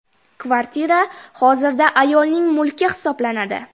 Kvartira hozirda ayolning mulki hisoblanadi.